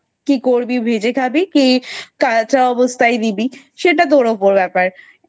কি করবি ভেজে খাবি কি কাঁচা অবস্থায় দিবি এটা তোর উপর ব্যাপার।